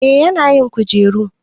eh yana yin kujeru